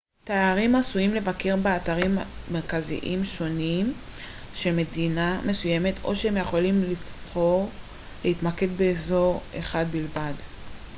תיירים עשויים לבקר באתרים מרכזיים שונים של מדינה מסוימת או שהם יכולים פשוט לבחור להתמקד באזור אחד בלבד